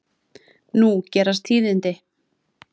Nú gerast tíðindi.